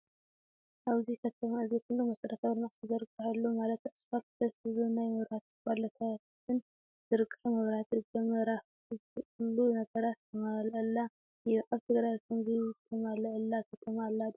ኣብዚ ከተማ እዚ ኩሉ መስረታዊ ልምዓት ዝተዘርገሐሉማለት ኣስፋልት፣ ደስ ዝብሉ ናይ መብራሕቲ ፖሎታትን ዝርገሐ መብራህቲ ገመራፍ ኩሉ ነገራት ዝተማለኣ እዩ። ኣብ ትግራይ ከምዙይ ተማለኣላ ከተማ ኣላ ዶ?